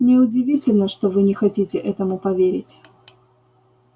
не удивительно что вы не хотите этому поверить